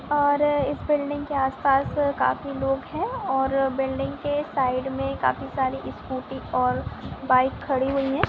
और इस बिल्डिंग के आस -पास काफी लोग है और बिल्डिंग के साइड में काफ़ी सारी स्कूटी और बाइक खड़ी हुई है।